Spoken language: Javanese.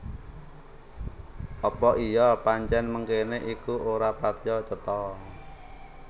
Apa iya pancèn mengkéné iku ora patiya cetha